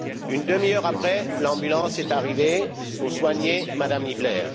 Une demi heure après, l'ambulance est arrivée pour soigner M Niebler.